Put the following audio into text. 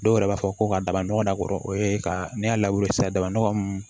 Dɔw yɛrɛ b'a fɔ ko ka daba nɔgɔ da a kɔrɔ o ye ka ne y'a lawuli sa dabanɔgɔ mun